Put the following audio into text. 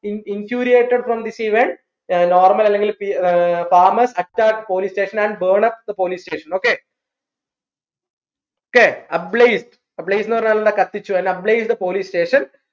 from this event uh normal അല്ലെങ്കിൽ uh farmers attacked police station and burn up the police station okay okay ന്ന് പറഞ്ഞാ എന്താ കത്തിച്ചു അല്ലേൽ the police station